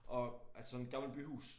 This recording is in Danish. Og altså sådan et gammelt byhus